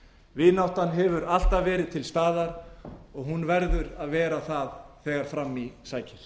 vináttan hefur alltaf verið til staðar og hún verður að vera það þegar fram í sækir